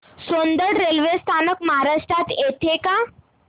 Soundad railway स्थानक महाराष्ट्रात येतं का